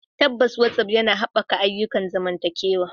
Tabbas, WhatsApp yana haɓaka ayyukan zamantakewa.